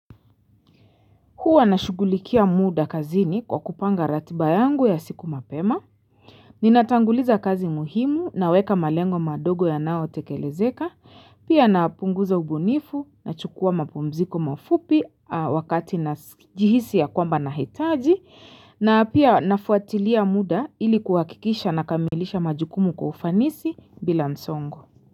Huwa nashugulikia muda kazini kwa kupanga ratiba yangu ya siku mapema Ninatanguliza kazi muhimu naweka malengo madogo yanao tekelezeka pia napunguza ubunifu na chukua mapumziko mafupi wakati na jihisi ya kwamba nahitaji na pia nafuatilia muda ilikuwakikisha na kamilisha majukumu kwa ufanisi bila msongo.